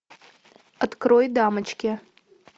открой дамочки